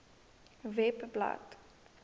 webblad